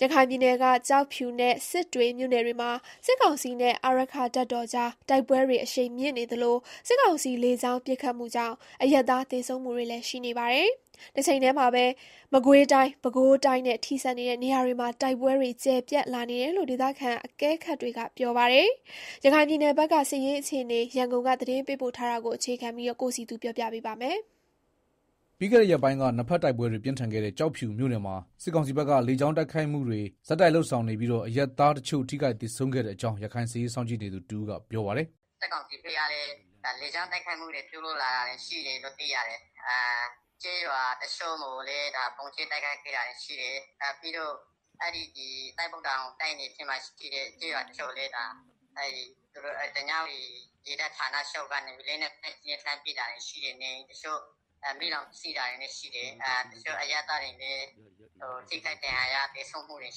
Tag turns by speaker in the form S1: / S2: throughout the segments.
S1: ရခိုင်ပြည်နယ်က ကျောက်ဖြူနဲ့စစ်တွေမြို့နယ်တွေမှာ စစ်ကောင်စီနဲ့ အာရက္ခတပ်တော်ကြား တိုက်ပွဲတွေအရှိန်မြင့်နေသလို စစ်ကောင်စီလေကြောင်းပစ်ခတ်မှုကြောင့် အရပ်သား သေဆုံးမှု တွေလည်းရှိနေပါတယ်။ တချိန်တည်းမှာပဲ မကွေးတိုင်း၊ ပဲခူးတိုင်းနဲ့ ထိစပ်နေတဲ့ နေရာတွေမှာပါ တိုက်ပွဲတွေ ကျယ်ပြန့်လာနေတယ်လို့ ဒေသခံအကဲခတ်တွေက ပြောပါတယ်။ ရခိုင်ပြည်နယ် စစ်ရေးအခြေအနေ ရန်ကုန်က သတင်းပေးပို့ထားတာကို တင်ပြထားပါတယ်။
S2: ပြီးခဲ့တဲ့ ရက်ပိုင်းက နှစ်ဘက်တိုက်ပွဲတွေ ပြင်းထန်ခဲ့တဲ့ ကျောက်ဖြူမြို့နယ်မှာ စစ်ကောင်စီဘက်က လေကြောင်းပစ်ခတ်မှုတွေကို ဆက်တိုက်လုပ်ဆောင်နေပြီး အရပ်သားတချို့ ထိခိုက်သေဆုံးခဲ့တဲ့အကြောင်း ရခိုင်စစ်ရေးစောင့်ကြည်နေသူတဦးကပြောပါတယ်။
S1: “စစ်ကောင်စီဘက်ကလည်း လေကြောင်းတိုက်ခိုက်မှုတွေ ပြုလုပ်လာတာရှိတယ်လို့ သိရတယ်။ ကျေးရွာ တချို့ကိုလည်း ဗုံးကြဲတိုက်ခိုက်ခဲ့တာရှိတယ်။ ပြီးတော့ သစ်ပုတ်တောင် တိုက်နယ်ထဲမှာရှိတဲ့ ကျေးရွာတချို့ ကိုလည်း ဓညဝတီရေတပ်ဌာနချုပ်က လက်နက်ကြီးနဲ့ လှမ်းပစ်တာတွေကြောင့် နေအိမ်တွေ မီးလောင်တာ၊ တချို့အရပ်သားတွေ ထိခိုက်သေဆုံးတာတွေလည်း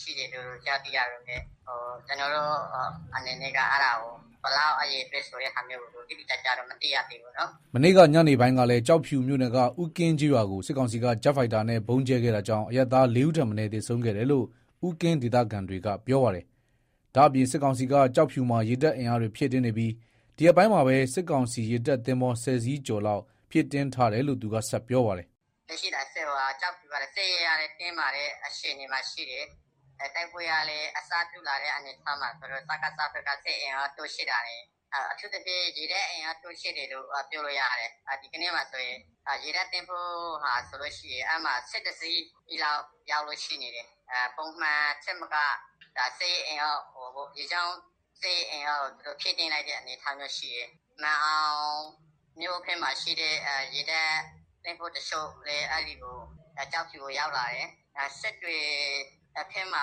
S1: ရှိတယ်။ အရေအတွက် တိတိကျကျတော့ မသိရသေးဘူး။
S2: ” မနေ့က ညနေပိုင်းကလည်း ကျောက်ဖြူမြို့နယ်က ဦးကင်းကျေးရွာကို စစ်ကောင်စီက ဂျက်ဖိုက်တာနဲ့ ဗုံးကြဲခဲ့ တာကြောင့် အရပ်သားလေးဦးထက်မနည်းသေဆုံးခဲ့တယ်လို့ ဦးကင်း ဒေသခံတွေက ပြောပါတယ်။ ဒါ့ပြင် စစ်ကောင်စီက ကျောက်ဖြူမှာ ရေတပ်အင်အားဖြည့်တင်းနေပြီး ဒီရက်ပိုင်းမှာပဲ စစ်ကောင်စီရေတပ် သင်္ဘော ဆယ်စီးကျော်လောက်ဖြည့်တင်းထားတယ်လို့ သူကဆက်ပြောပါတယ်
S1: ။ “လက်ရှိကျောက်ဖြူကတော့ စစ်ရေးအရ တင်းမာတဲ့ အခြေအနေမှာရှိတယ်။ တိုက်ပွဲကလည်း အစပြုလာတော့ စကစဘက်ကလည်း စစ်အင်အားတိုးချဲ့တာတွေ အထူးသဖြင့် ရေတပ်အင်အားတိုးချဲ့တယ်လို့ ပြောလို့ရပါတယ်။ ဒီရက်ပိုင်းမှာဆိုရင် ရေတပ်သင်္ဘော (၁၁) စီးလောက်ရောက်လို့ ရှိတယ်လို့ သိရတယ်။ ပုံအနေအထားထက် သူတို့ ရေတပ်အင်အားကို ဖြည့်တင်းလိုက်တဲ့ အနေအထားရှိတယ်။ မာန်အောင်ဘက်က ရေတပ်သင်္ဘော တချို့လည်း ကျောက်ဖြူကို ရောက်လာတယ်။ စစ်တွေဘက်မှာ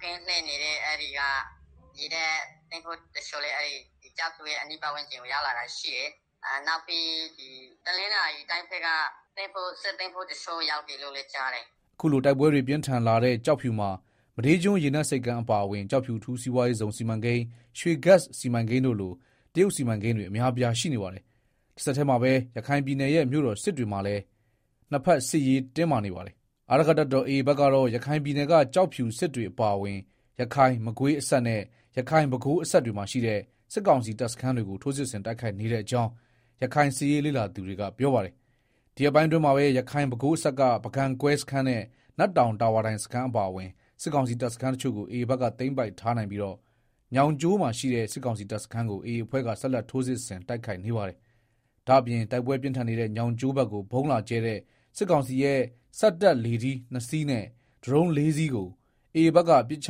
S1: ကင်းလှည့်နေတဲ့ သင်္ဘောတချို့လည်း ကျောက်ဖြူအနီးပတ်ဝန်းကျင်ကို ရောက်လာတာရှိတယ်။ နောက်ပြီး တနင်္သာရီတိုင်းဘက်က စစ်သင်္ဘောတချို့ ရောက်တယ်လို့လည်း ကြားတယ်။
S2: ” အခုလို တိုက်ပွဲတွေပြင်းထန်လာတဲ့ ကျောက်ဖြူမှာ မဒေးကျွန်းရေနက်ဆိပ်ကမ်းအပါအဝင် ကျောက်ဖြူ အထူးစီးပွားရေးဇုန် စီမံကိန်း (SEZ) နဲ့ ရွှေဂက်စ်စီမံကိန်းတို့လို တရုတ်စီမံကိန်းတွေအများအပြား ရှိနေပါတဘ်။ တဆက်တည်းမှာပဲ ရခိုင်ပြည်နယ်ရဲ့ မြို့တော်စစ်တွေမှာလည်း နှစ်ဘက်စစ်ရေးတင်းမာနေပါတယ်။ အာရက္ခတပ်တော် AA ဘက်ကတော့ ရခိုင်ပြည်နယ်က ကျောက်ဖြူ၊ စစ်တွေအပါအဝင်ရခိုင်-မကွေးအစပ်နဲ့ ရခိုင်-ပဲခူးအစပ်တွေမှာရှိတဲ့ စစ်ကောင်စီတပ်စခန်းတွေကို ထိုးစစ်ဆင်တိုက်ခိုက်နေတဲ့အကြောင်း ရခိုင် စစ်ရေးလေ့လာသူတွေက ပြောပါတယ်။ ဒီရက်ပိုင်းအတွင်းမှာပဲ ရခိုင်-ပဲခူးအစပ်က ပုဂံကွဲစခန်းနဲ့ နတ်တောင်တာဝါတိုင်စခန်းအပါအဝင် စစ်ကောင်စီ တပ်စခန်းတချို့ကို AA ဘက်က သိမ်းပိုက်ထားနိုင်ပြီး ညောင်ကျိုးမှာရှိတဲ့ စစ်ကောင်စီတပ်စခန်းကို AA အဖွဲ့က ဆက်လက်ထိုးစစ်ဆင်တိုက်ခိုက်နေပါတယ်။ ဒါ့အပြင်တိုက်ပွဲပြင်းထန်နေတဲ့ ညောင်းကျိုးဘက်ကို ဗုံးလာကြဲတဲ့ စစ်ကောင်စီရဲ့ စက်တပ်လေထီးနှစ်စီးနဲ့ ဒရုန်း ၄ စီးကို AA ဘက်က ပစ်ချ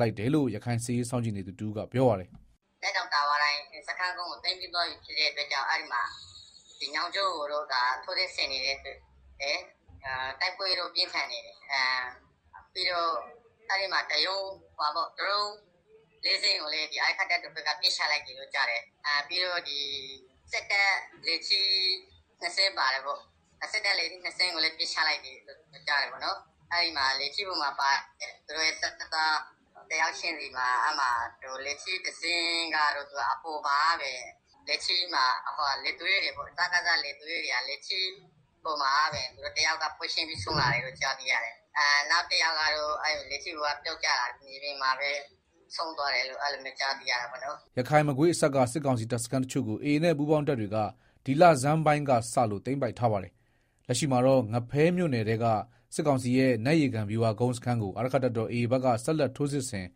S2: လိုက်တယ်လို့ ရခိုင်စစ်ရေးစောင့်ကြည့်နေသူ တဦးကပြောပါတယ်။
S1: “နတ်တောင် တာဝါတိုင်စခန်းကို သိမ်းပြီးသွားပြီဖြစ်တဲ့အတွက် အဲဒီမှာ ညောင်ကျိုးကို ဆက်ပြီးတော့ ထိုးစစ်ဆင်နေတယ်။ တိုက်ပွဲလည်း ပြင်းထန်နေတယ်။ ပြီးတော့ ဒရုန်းလေးစင်းကိုလည်း အာရက္ခတပ် တော်ဘက်က ပစ်ချလိုက်တယ်လို့ ကြားတယ်။ ပြီးတော့ စစ်တပ်လေထီးနှစ်စင်းပါတယ်ပေါ့။ အဲဒါကိုလည်း ပစ်ချလိုက်တယ်လို့ကြားတယ်။ အဲဒီမှာ လေထီးတစီးချင်းစီပေါ်မှာပါတဲ့ လေသူရဲပေါ့။ တယောက်ကတော့ လေထီးပေါ်မှာကတည်းက ဆုံးလာတယ်လို့သိရတယ်။ နောက်ကယောက်ကတော့ လေထီးပေါ်ကပြုတ်ကျပြီး မြေပြင်မှာ ဆုံးသွားတယ်လို့ သိရတယ်
S2: ။” ရခိုင်-မကွေးအစပ်က စစ်ကောင်စီတပ်စခန်းတချို့ကို AA နဲ့ ပူးပေါင်းတပ်တွေက ဒီလဆန်းပိုင်းကစလို့ သိမ်းပိုက်ထားပါတယ်။ လက်ရှိမှာတော့ ငဖဲမြို့နယ်ထဲက စစ်ကောင်စီရဲ့ နတ်ရေကန်ဗျူဟာကုန်းစခန်းကို အာရက္ခတပ်တော် AA ဘက်က ဆက်လက်ထိုးစစ်ဆင်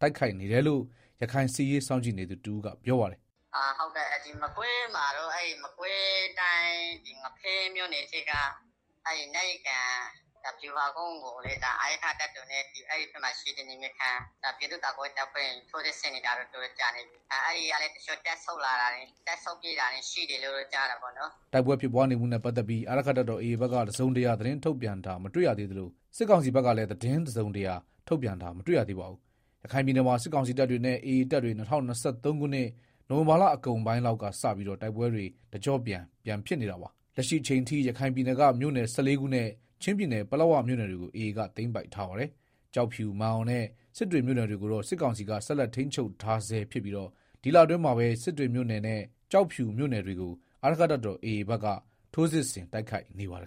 S2: တိုက်ခိုက်နေတယ်လို့ ရခိုင်စစ်ရေးစောင့်ကြည့်နေသူ တဦးကပြောပါတယ်။
S1: “မကွေးမှာတော့ မကွေးတိုင်း ငဖဲမြို့နယ်ထဲက နတ်ရေကန်ဗျူဟာကုန်းကိုလည်း အာရက္ခတပ်တော်နဲ့ အဲဒီဘက်မှာရှိတဲ့ နယ်မြေခံ ပြည်သူ့ကာကွယ်ရေးတပ်ဖွဲ့တွေက ထိုးစစ်ဆင်နေတာ တော်တော်ကြာပါပြီ။ အဲဒီကလည်း တချို့ တပ်ဆုတ်ပြေးတာတွေရှိတယ်လို့ ကြားတယ်ပေါ့နော်။
S2: ” တိုက်ပွဲဖြစ်ပွားနေမှုနဲ့ပတ်သက်ပြီးတော့ အာရက္ခတပ်တော် AA ဘက်က တစုံတရာသတင်းထုတ်ပြန်တာ မတွေ့ရသေးသလို စစ်ကောင်စီဘက်ကလည်း သတင်းတစုံတရာ ထုတ်ပြန်တာမတွေ့ရသေးပါဘူး။ ရခိုင်ပြည်နယ်မှာ စစ်ကောင်စီတပ်တွေနဲ့ AA တပ်တွေ ၂၀၂၃ ခုနှစ် နိုဝင်ဘာလအကုန်ပိုင်း လောက်ကစပြီး တိုက်ပွဲတွေ တကျော့ပြန်ဖြစ်နေတာပါ။ လက်ရှိအချိန်အထိ ရခိုင်ပြည်နယ်က မြို့နယ် (၁၄) ခုနဲ့ ချင်းပြည်နယ် ပလက်ဝမြို့နယ်တွေကို AA ဘက်က သိမ်းပိုက်ထားပါတယ်။ ကျောက်ဖြူ၊ မာန်အောင်နဲ့ စစ်တွေမြို့နယ်တွေကိုတော့ စစ်ကောင်စီက ဆက်လက် ထိန်းချုပ်ထားဆဲဖြစ်ပြီး ဒီလအတွင်းမှာပဲ စစ်တွေမြို့နယ်နဲ့ ကျောက်ဖြူမြို့နယ်တွေကို အာရက္ခတပ်တော် AA က ထိုးစစ်ဆင် တိုက်ခိုက်နေပါတယ်